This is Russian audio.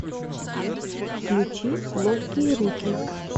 включи ловкие руки